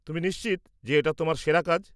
তুমি নিশ্চিত যে এটা তোমার সেরা কাজ?